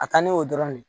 A ka di n ye o dɔrɔn de